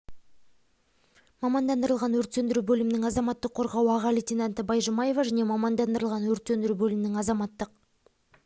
мамандандырылған өрт сөндіру бөлімінің азаматтық қорғау аға лейтенанты байжұмаева және мамандандырылған өрт сөндіру бөлімінің азаматтық